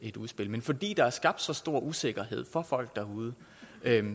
et udspil men fordi der er skabt så stor usikkerhed for folk derude vil